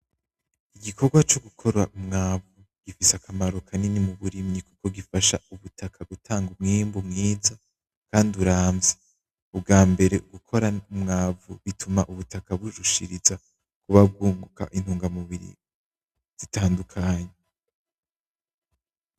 Igikorwa co gukora Umwavu gifise akamaro kanini muburimyi gifasha ubutaka umwimbu mwiza kandi uramvya, Ubwambere gukorana Umwavu bituma burushiriza kuba bwunguka intungamurbiri zitandukanye.